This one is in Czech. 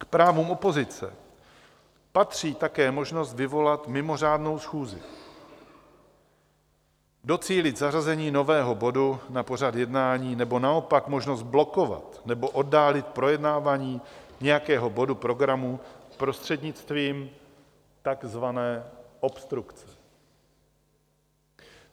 K právům opozice patří také možnost vyvolat mimořádnou schůzi, docílit zařazení nového bodu na pořad jednání nebo naopak možnost blokovat nebo oddálit projednávání nějakého bodu programu prostřednictvím takzvané obstrukce.